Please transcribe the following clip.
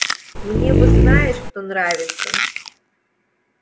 мне вот знаешь кто нравится